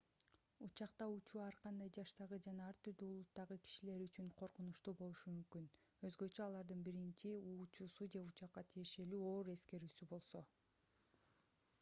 учакта учуу ар кандай жаштагы жана ар түрдүү улуттагы кишилер үчүн коркунучтуу болушу мүмкүн өзгөчө алардын биринчи учуусу же учакка тиешелүү оор эскерүүсү болсо